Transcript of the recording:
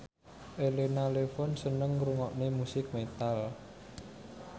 Elena Levon seneng ngrungokne musik metal